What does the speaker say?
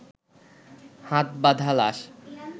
হাত বাঁধা লাশ